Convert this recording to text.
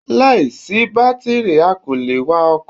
Láìsí bátìrì a kò le è wa ọkò